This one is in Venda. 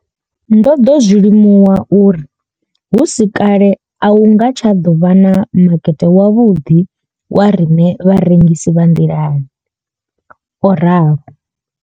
Ndo ḓo zwi limuwa uri hu si kale a hu nga tsha ḓo vha na makete wavhuḓi wa riṋe vharengisi vha nḓilani o ralo.